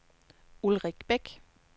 Ulrik Bæk